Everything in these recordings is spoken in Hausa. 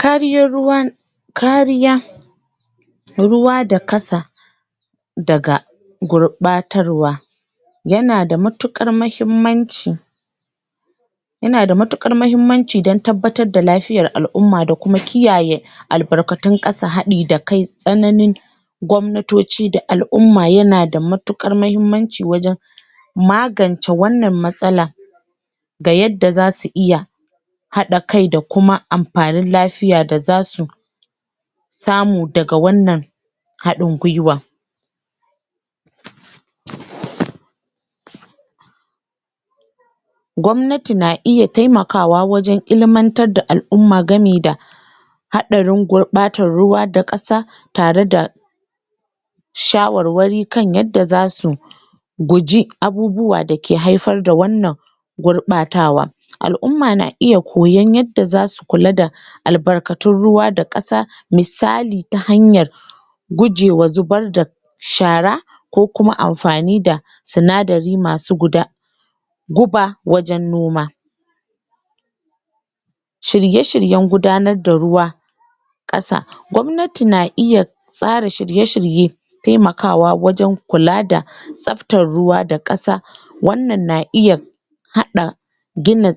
kariyar ruwa kariya ruwa da kasa daga gurɓatarwa yana da matuƙar mahimmanci yana matuƙar mahimmanci dan tabbatar da lafiyar al'umma da kuma kiyaye albarkatun ƙasa haɗi da kai tsananin gwamnatoci da al'umma yana da matuƙar mahimmanci wajen magance wannan matsala ga yadda zasu iya haɗa kai da kuma amfanin lafiya da zasu samu daga wannan haɗin gwiwa gwamnati na iya temakawa wajen ilimantar da al'umma gami da haɗarin gurɓatan ruwa da ƙasa tare da shawarwari kan yadda za su guji abubuwa dake haifar da wannan gurɓatawa al'umma na iya koyon yadda zasu kula da albarkatu ruwa da ƙasa misali ta hanyar guje wa zubar da shara ko kuma amfani da sinadari masu guda guba wajen noma shirye-shiryen gudanar da ruwa ƙasa gwamnati na iya tsara shirye-shirye temakawa wajen kula da tsaftar ruwa da ƙasa wannan na iya haɗa gina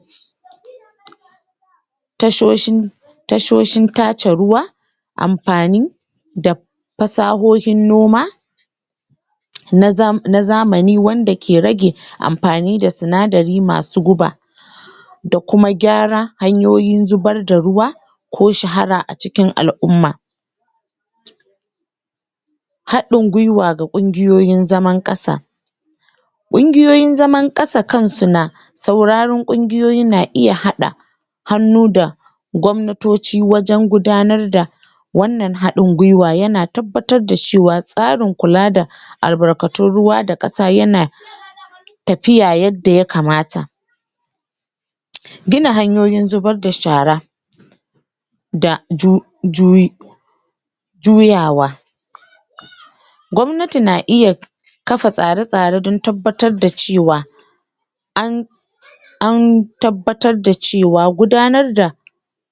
tashosin tashoshin tace ruwa amfani da fasahohin noma na zamani wanda ke rage amfani da sinadari masu guba da kuma gyara hanyoyin zubar da ruwa ko shara a cikin al'umma haɗin gwiwa ga ƙungiyoyi zaman ƙasa ƙungiyoyin zaman ƙasa kansu na sauraron ƙungiyoyi na iya haɗa hannu da gwamnatoci wajen gudanar da wannan haɗin gwiwa yana tabbatar da cewa tsarin kula da albarkatun ruwa da ƙasa yana tafiya yadda ya kamata gina hanyoyin zubar da shara da juyawa gwamnati na iya kafa tsare-tsare dan tabbatar da cewa an an tabbatar da cewa gudanar da